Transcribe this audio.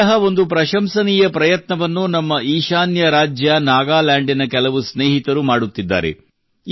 ಇಂತಹ ಒಂದು ಪ್ರಶಂಸನೀಯ ಪ್ರಯತ್ನವನ್ನು ನಮ್ಮ ಈಶಾನ್ಯ ರಾಜ್ಯ ನಾಗಾಲ್ಯಾಂಡಿನ ಕೆಲವು ಸ್ನೇಹಿತರು ಮಾಡುತ್ತಿದ್ದಾರೆ